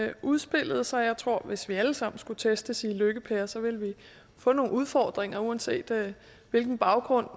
der udspillede sig jeg tror at hvis vi alle sammen skulle testes i lykke per så ville vi få nogle udfordringer uanset hvilken baggrund